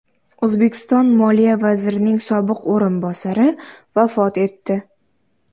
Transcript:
O‘zbekiston moliya vazirining sobiq o‘rinbosari vafot etdi.